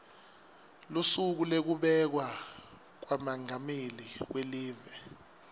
lusuku lwekubekwa kwamengameli welive